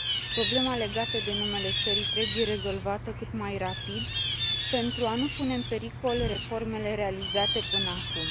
Problema legată de numele țării trebuie rezolvată cât mai rapid pentru a nu pune în pericol reformele realizate până acum.